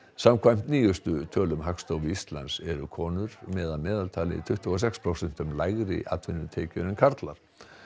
samkvæmt nýjustu tölum Hagstofu Íslands eru konur með að meðaltali tuttugu og sex prósentum lægri atvinnutekjur en karlar